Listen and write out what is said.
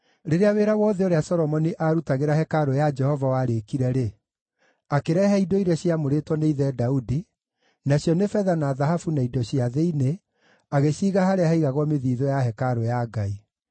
Rĩrĩa wĩra wothe ũrĩa Solomoni aarutagĩra hekarũ ya Jehova warĩkire-rĩ, akĩrehe indo iria ciamũrĩtwo nĩ ithe Daudi, nacio nĩ betha na thahabu na indo cia thĩinĩ, agĩciiga harĩa haigagwo mĩthiithũ ya hekarũ ya Ngai.